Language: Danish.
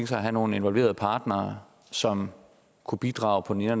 sig at have nogle involverede partnere som kunne bidrage på den ene